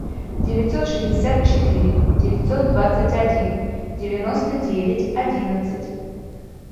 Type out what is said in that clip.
девятьсот шестьдесят четыре девятьсот двадцать один девяносто девять одиннадцать